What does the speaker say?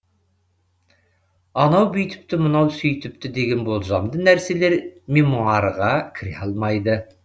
анау бүйтіпті мынау сөйтіпті деген болжамды нәрселер мемуарға кіре алмайды